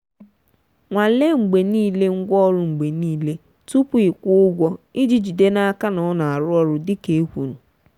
nwanle mgbe niile ngwaọrụ mgbe niile tupu ịkwụ ụgwọ iji jide n'aka na ọ na-arụ ọrụ dịka e kwuru.